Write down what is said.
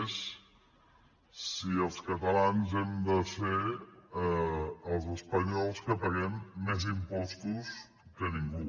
és si els catalans hem de ser els espanyols que paguem més impostos que ningú